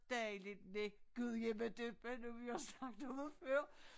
Dejligt med gudjimmadøppa nu vi også snakkede om det før